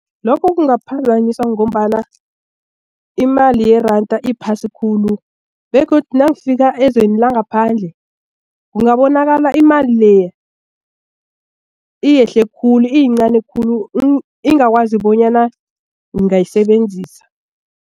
Lokhu kungaphazanyiswa ngombana imali yeranda iphasi khulu begodu nangifika ezweni langaphandle kungabonakala imali leya iyehle khulu iyincani khulu ingakwazi bonyana ngingayisebenzisa.